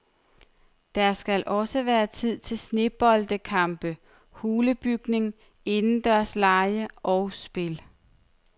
Der skal også være tid til sneboldkampe, hulebygning, indendørslege og spil.